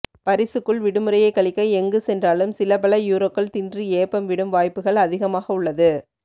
பரிசுக்குள் விடுமுறையை கழிக்க எங்கு சென்றாலும் சில பல யூரோக்கள் தின்று ஏப்பம் விடும் வாய்ப்புகள் அதிகமாக உள்ளது